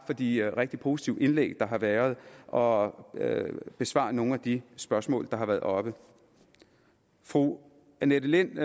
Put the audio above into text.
for de rigtig positive indlæg der har været og besvare nogle af de spørgsmål der har været oppe fru annette lind